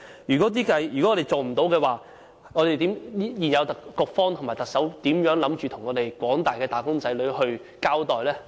如果不能做到，現屆政府的局方和特首打算如何向廣大的"打工仔女"交代？